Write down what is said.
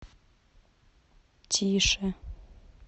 тише